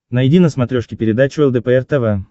найди на смотрешке передачу лдпр тв